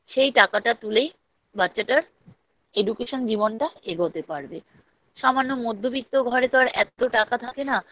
সেই টাকাটা তুলেই বাচ্চাটার Education জীবনটা এগোতে পারবে সামান্য মধ্যবিত্ত ঘরে তো আর এত্ত টাকা থাকে না